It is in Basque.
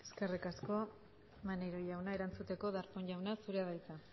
eskerrik asko maneiro jauna erantzuteko darpón jauna zurea da hitza